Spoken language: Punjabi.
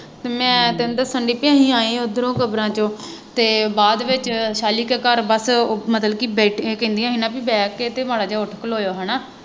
ਮੈਂ ਤੈਨੂੰ ਦੱਸਣ ਡੇਈ ਕਿ ਅਸੀਂ ਆਏ ਉੱਧਰੋ ਕਬਰਾਂ ਚੋਂ ਅਤੇ ਬਾਅਦ ਵਿੱਚ ਸਾਅਲੀ ਕੇ ਘਰ ਬੱਸ ਉਹ ਮਤਲਬ ਕਿ ਬੇਟੀਆਂ ਕਹਿੰਦੀਆਂ ਸੀ ਨਾ ਬਈ ਬਹਿ ਕੇ ਮਾੜ੍ਹਾ ਜਿਹਾ ਉੱਠ ਖਲੋ ਹੋਇਉ ਹੈ ਨਾ